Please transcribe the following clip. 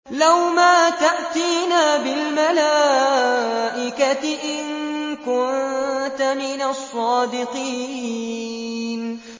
لَّوْ مَا تَأْتِينَا بِالْمَلَائِكَةِ إِن كُنتَ مِنَ الصَّادِقِينَ